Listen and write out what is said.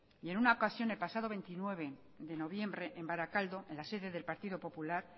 y en una ocasión el pasado veintinueve de noviembre en barakaldo en la sede del partido popular